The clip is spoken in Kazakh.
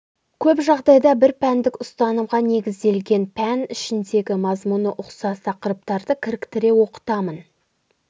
көп жағдайда бірпәндік ұстанымға негізделген пән ішіндегі мазмұны ұқсас тақырыптарды кіріктіре оқытамын